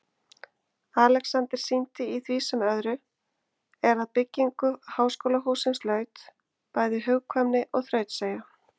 Alexander sýndi í því sem öðru, er að byggingu háskólahússins laut, bæði hugkvæmni og þrautseigju.